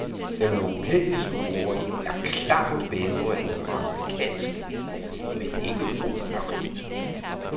Den europæiske boring er klart bedre end den amerikanske, men ikke god nok.